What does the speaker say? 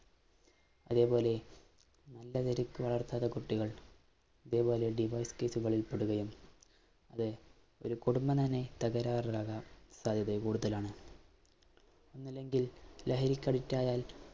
അതേപോലെ, കുട്ടികള്‍ ഇതേപോലെ divorce കേസുകളില്‍ പെടുകയും, അത് ഒരു കുടുംബം തന്നെ തകരാറിലാകാന്‍ സാധ്യത കൂടുതലാണ്. ലഹരിക്ക്‌ addict ആയാല്‍